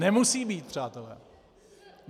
Nemusí být, přátelé!